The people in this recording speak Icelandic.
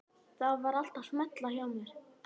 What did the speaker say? Það var allt að smella hjá mér.